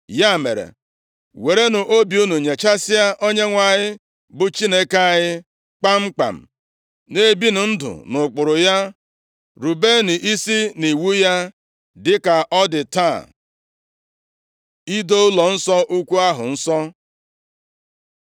Ya mere, werenụ obi unu nyechasịa Onyenwe anyị bụ Chineke anyị, kpamkpam, na-ebinụ ndụ nʼụkpụrụ ya, rubenụ isi nʼiwu ya, dịka ọ dị taa.” Ido Ụlọnsọ Ukwu ahụ Nsọ